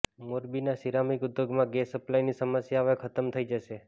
મોરબીના સિરામિક ઉદ્યોગમાં ગેસ સપ્લાયની સમસ્યા હવે ખતમ થઈ જશે